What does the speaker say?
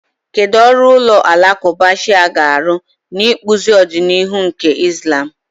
Kedu ọrụ ụlọ alakụba Shia ga-arụ n'ịkpụzi ọdịnihu nke Islam?